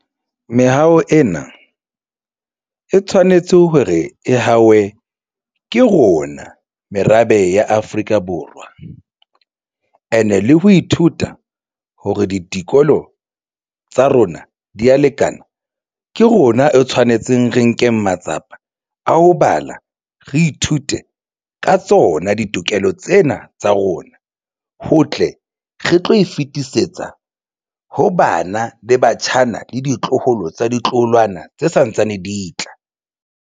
Meaho ena e tshwanetse hore e hawe ke rona merabe ya Afrika Borwa and-e le ho ithuta hore ditikoloho tsa rona di ya lekana, ke rona e tshwanetseng re nkeng matsapa a ho bala, re ithute ka tsona ditokelo tsena tsa rona. Ho tle re tlo e fetisetsa ho bana le batjhana bana le ditloholo tsa ditloholwana tse santsane di tla.